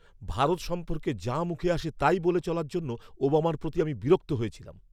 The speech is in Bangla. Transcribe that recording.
ভারত সম্পর্কে যা মুখে আসে তাই বলে চলার জন্য ওবামার প্রতি আমি বিরক্ত হয়েছিলাম।